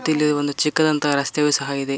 ಮತ್ತಿಲ್ಲಿ ಒಂದು ಚಿಕ್ಕದಾದಂತ ರಸ್ತೆಯು ಸಹ ಇದೆ.